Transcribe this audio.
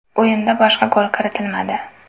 O‘yinda boshqa gol kiritilmadi.